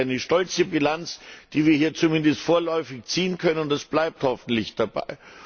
Das ist eine stolze Bilanz, die wir hier zumindest vorläufig ziehen können, und es bleibt hoffentlich dabei.